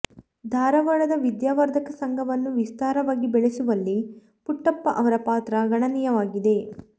ಧಾರವಾಡದ ವಿದ್ಯಾವರ್ಧಕ ಸಂಘವನ್ನು ವಿಸ್ತಾರವಾಗಿ ಬೆಳೆಸುವಲ್ಲಿ ಪುಟ್ಟಪ್ಪ ಅವರ ಪಾತ್ರ ಗಣನೀಯವಾಗಿದೆ